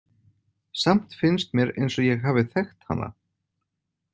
Samt finnst mér eins og ég hafi þekkt hana.